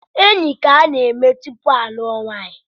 Enyi ka a na-eme tupu alụọ nwanyi